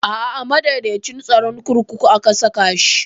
A'a a madaidaicin tsaron kurkuku aka saka shi